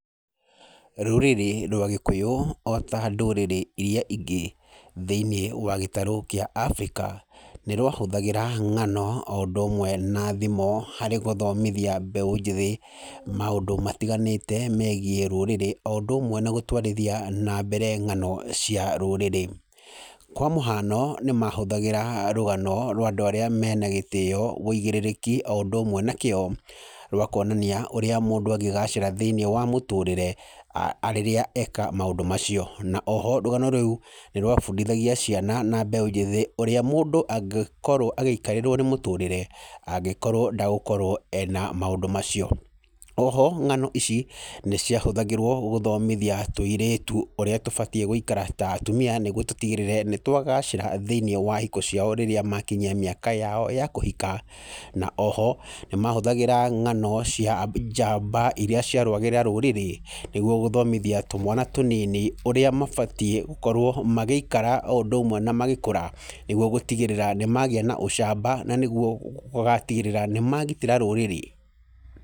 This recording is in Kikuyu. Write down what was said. Rurĩrĩ rwa Gĩkũyũ ota ndũrĩre irĩa ingĩ thĩinĩ wa gĩtarũ kĩa Africa nĩ rwahũthagĩra ng'ano o indũ ũmwe na thimo harĩ gũthomithia mbeũ njĩthĩ maũndũ matiganĩte megiĩ rũrĩrĩ. O ũndũ ũmwe na gũtwarithia nambere ng'ano cia rũrĩrĩ. Kwa mũhiano nĩ mahũthagĩra rũgano rwa andũ arĩa mena gĩtĩo ũigĩrĩrĩki o ũndũ ũmwe na kĩo rwa kuonania ũrĩa mũndũ angĩgacĩra thĩinĩ wa mũtũrĩre rĩrĩa eka maũndũ macio. Na o ho rũgano rũu nĩ rwabundithagia ciana na mbeũ njĩthĩ ũrĩa mũndũ angĩikarĩrwo nĩ mũtũrĩre angĩkorwo ndegũkorwo ena maũndũ macio. O ho ng'ano ici nĩ ciahũthagĩrwo gũthomithia tũirĩtu ũrĩa tũbatiĩ gũikara ta atumia nĩguo tũtigĩrĩre nĩtwabacĩra thĩinĩ wa hiko ciao rĩrĩa makinyia mĩaka yao ya kũhika. Na o ho nĩ mahũthĩraga ng'ano cia njamba irĩa ciarũagĩrĩra rũrĩrĩ nĩguo gũthomithia tũmwana tũnini ũrĩa mabatiĩ gũkorwo magĩikara o ũndũ ũmwe na magĩkũra. Nĩguo gũtigĩrĩra nĩ magĩa na ũcamba na nĩguo gũtigĩrĩra nĩ magitĩra rũrĩrĩ.